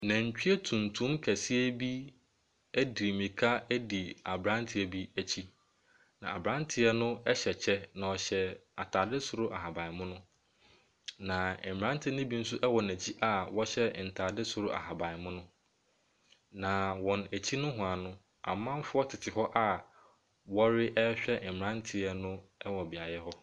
Nantwie tuntum kɛseɛ bi edi mirika di abranteɛ bi akyi. Na abranteɛ no ɛhyɛ kyɛ na ɔhyɛ ataade soro ahaban mono. Na mmaranteɛ no bi nso ɛwɔ nɛkyi a ɔhyɛ ntaade soro ahaban mono. Na wɔ wɔn akyi nowhaa no amanfoɔ tete ho a ɔrehwɛ abranteɛ no wɔ beaeɛ hɔ.